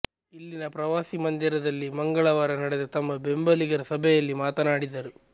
ಇಲ್ಲಿನ ಪ್ರವಾಸಿ ಮಂದಿರದಲ್ಲಿ ಮಂಗಳವಾರ ನಡೆದ ತಮ್ಮ ಬೆಂಬಲಿಗರ ಸಭೆಯಲ್ಲಿ ಮಾತನಾಡಿದರು